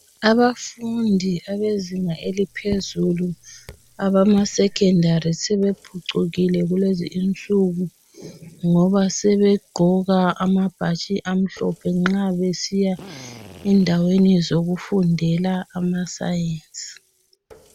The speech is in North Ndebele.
Abafundi abezinga eliphezulu abamaSekhondari sebephucukile kulezi insuku ngoba sebegqoka amabhatshi amhlophe nxa besiya endaweni zokufundela ama"Science".